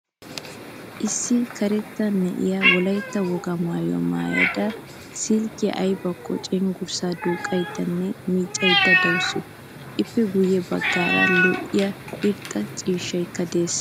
Issi karetta na'iyaa wolaytta wogaa maayuwaa maayada silkkiyan aybako cenggurssa duuqaydanne miccayda deawusu. Ippe guye baggaara lo'iyaa irxxa ciishshaykk a de'ees.